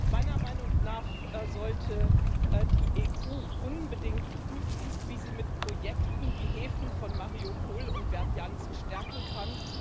Meiner Meinung nach sollte die EU unbedingt prüfen, wie sie mit Projekten die Häfen von Mariupol und Berdjansk stärken kann.